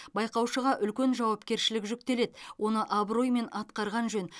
байқаушыға үлкен жауапкершілік жүктеледі оны абыроймен атқарған жөн